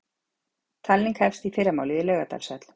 Talning hefst í fyrramálið í Laugardalshöll